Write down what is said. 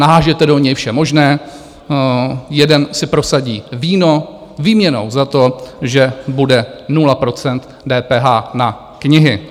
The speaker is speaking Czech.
Naházíte do něj vše možné, jeden si prosadí víno výměnou za to, že bude 0 % DPH na knihy.